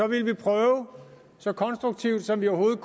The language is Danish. vil prøve så konstruktivt som vi overhovedet